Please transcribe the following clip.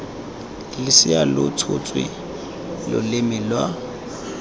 losea lo tsholetse loleme lwa